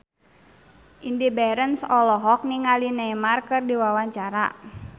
Indy Barens olohok ningali Neymar keur diwawancara